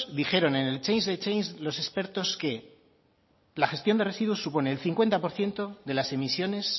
dijeron en el change the change los expertos que la gestión de residuos supone el cincuenta por ciento de las emisiones